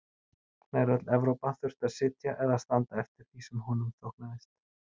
Nær öll Evrópa þurfti að sitja eða standa eftir því sem honum þóknaðist.